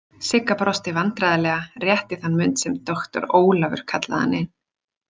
Sigga brosti vandræðalega rétt í þann mund sem doktor Ólafur kallaði hana inn.